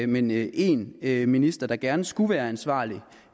men én én minister der gerne skulle være ansvarlig